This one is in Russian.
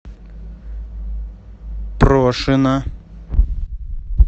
прошина